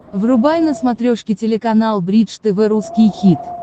врубай на смотрешке телеканал бридж тв русский хит